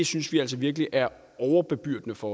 synes de altså virkelig er overbebyrdende for